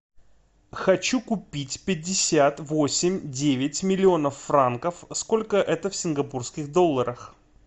хочу купить пятьдесят восемь девять миллионов франков сколько это в сингапурских долларах